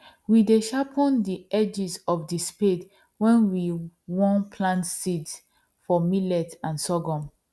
we dey sharpen the edges of the spade when we won plant seeds for millet and sorghum